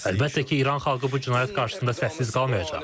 Əlbəttə ki, İran xalqı bu cinayət qarşısında səssiz qalmayacaq.